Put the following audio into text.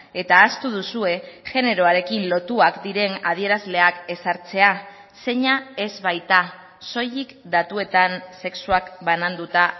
eta ahaztu duzue generoarekin lotuak diren adierazleak ezartzea zeina ez baita soilik datuetan sexuak bananduta